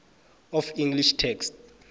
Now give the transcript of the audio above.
of english text